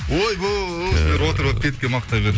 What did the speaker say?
ойбай сіздер отырып алып бетке мақтай